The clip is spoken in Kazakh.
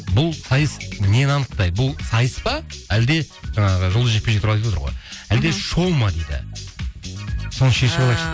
бұл сайыс нені анықтайды бұл сайыс па әлде ыыы жұлдызды жекпе жекті айтып отыр ғой мхм әлде шоу ма дейді